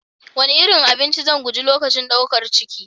Wane nau'in abinci zan guji lokacin ɗaukar ciki?